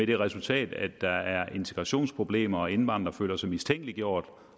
det resultat at der er integrationsproblemer og at indvandrere føler sig mistænkeliggjort